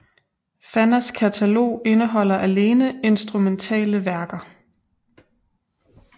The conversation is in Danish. Fannas katalog indeholder alene instrumentale værker